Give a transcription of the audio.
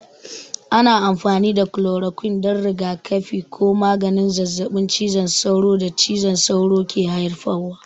Ana amfani da kulorokwin don rigakafi ko maganin zazzabin cizon sauro da cizon sauro ke haifarwa.